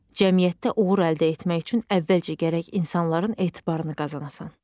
Cəmiyyətdə uğur əldə etmək üçün əvvəlcə gərək insanların etibarını qazanasın.